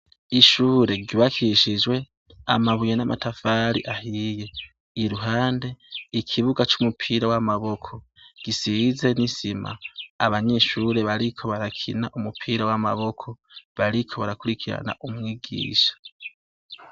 Ishure ryubakishijwe amabuye n'amatafari ahiye, iruhande ikibuga c'umupira w'amaboko gisize n'isima, abanyeshure bariko barakina umupira w'amaboko bariko barakurikirana umwigisha.